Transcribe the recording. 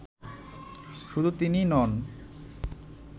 শুধু তিনিই নন